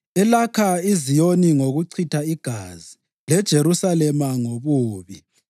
elakha iZiyoni ngokuchitha igazi; leJerusalema ngobubi.